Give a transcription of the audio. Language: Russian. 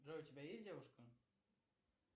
джой у тебя есть девушка